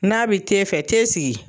N'a bi te fɛ te sigi.